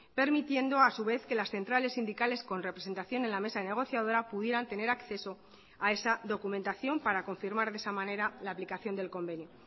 permitiendo a su vez que las centrales sindicales con representación en la mesa negociadora pudieran tener acceso a esa documentación para confirmar de esa manera la aplicación del convenio